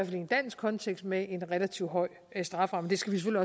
i en dansk kontekst med en relativt høj strafferamme det skal